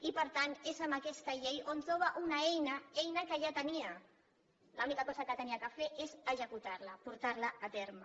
i per tant és amb aquesta llei on troba una eina eina que ja tenia l’única cosa que havia de fer és executar la portar la a terme